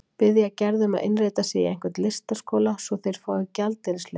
Biðja Gerði um að innrita sig í einhvern listaskóla svo að þeir fái gjaldeyrisleyfi.